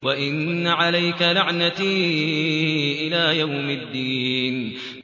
وَإِنَّ عَلَيْكَ لَعْنَتِي إِلَىٰ يَوْمِ الدِّينِ